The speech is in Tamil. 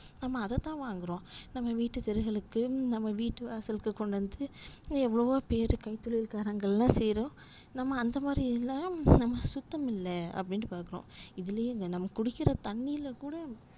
நம்ம அததான் வாங்குறோம் நம்ம வீட்டு பிள்ளைகளுக்கு நம்ம வீட்டு வாசலுக்கு கொண்டு வந்து இன்னும் எவ்வளவோ பேர் கைத்தொழில்காரங்கலாம் செய்றாங்க நம்ம அந்தமாதிரி உள்ளதுலா சுத்தம் இல்ல அப்டின்னு பாக்குறோம் இதுலயே நம்ம குடிக்குற தண்ணில கூட